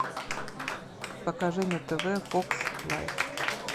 покажи на тв фокс лайф